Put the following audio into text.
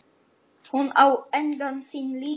Hún á engan sinn líka.